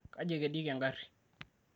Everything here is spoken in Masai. kaji ekedieki engarri?